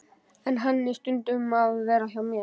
En hann á stundum að vera hjá mér.